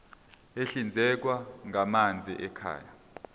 ahlinzekwa ngamanzi ekhaya